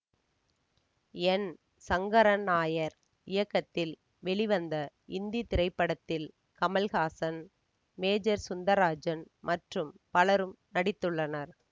என் சங்கரன் நாயர் இயக்கத்தில் வெளிவந்த இந்தி திரைப்படத்தில் கமல்ஹாசன் மேஜர் சுந்தராஜன் மற்றும் பலரும் நடித்துள்ளனர்